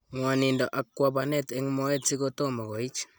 Ng'wanindo ak kabwanet eng' moet siko tomo koich.